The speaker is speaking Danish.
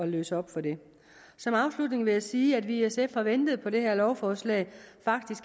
løse op for det som afslutning vil jeg sige at vi i sf har ventet på det her lovforslag